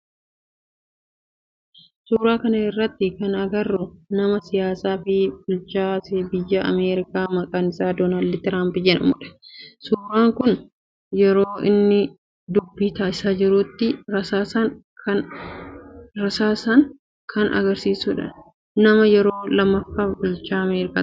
Suuraa kana irratti kana agarru nama siyaasaa fi bulchaa biyya Ameerikaa maqaan isaa Dooland Tiraampi jedhamudha. Suuraan kun yeroo inni dubbii taasisaa jirutti rasaasan kan agarsiisudha. Nama yeroo lammaffaaf bulchaa Ameerikaa ta'edha.